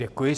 Děkuji.